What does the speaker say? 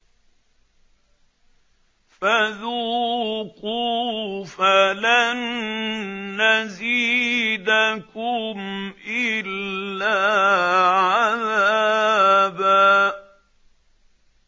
فَذُوقُوا فَلَن نَّزِيدَكُمْ إِلَّا عَذَابًا